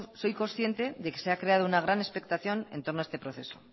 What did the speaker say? soy consciente de que se ha creado una gran expectación en torno a este proceso